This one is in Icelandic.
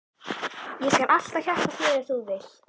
Ég skal alltaf hjálpa þér ef þú vilt.